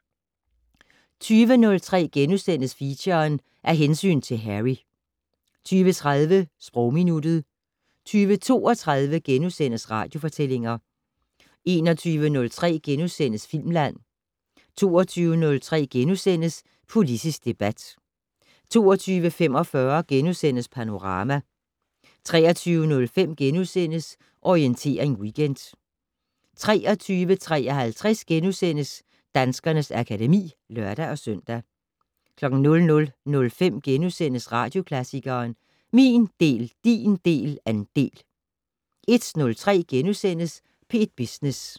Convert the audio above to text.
20:03: Feature: Af hensyn til Harry * 20:30: Sprogminuttet 20:32: Radiofortællinger * 21:03: Filmland * 22:03: Politisk debat * 22:45: Panorama * 23:05: Orientering Weekend * 23:53: Danskernes akademi *(lør-søn) 00:05: Radioklassikeren: Min del, din del, andel * 01:03: P1 Business *